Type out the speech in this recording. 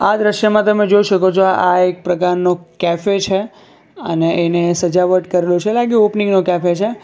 આ દ્રશ્યમાં તમે જોઈ શકો છો આ એક પ્રકારનું કેફે છે અને એને સજાવટ કરેલું છે લાગે ઓપનીંગ નું કેફે છે.